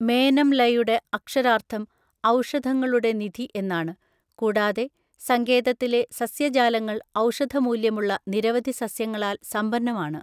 മേനം ലയുടെ അക്ഷരാർത്ഥം ഔഷധങ്ങളുടെ നിധി എന്നാണ്, കൂടാതെ സങ്കേതത്തിലെ സസ്യജാലങ്ങൾ ഔഷധ മൂല്യമുള്ള നിരവധി സസ്യങ്ങളാൽ സമ്പന്നമാണ്.